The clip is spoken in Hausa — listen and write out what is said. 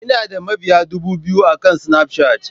Ina da mabiya dubu biyu akan Snapchat.